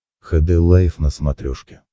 хд лайф на смотрешке